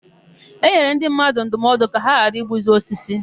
E nyere ndị mmadụ ndụmọdụ ka ha ghara igbuzi osisi.